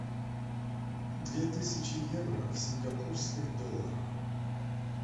две тысячи евро в сингапурских долларах